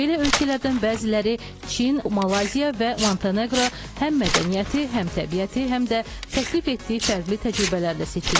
Belə ölkələrdən bəziləri Çin, Malayziya və Montenegro həm mədəniyyəti, həm təbiəti, həm də təklif etdiyi fərqli təcrübələrlə seçilir.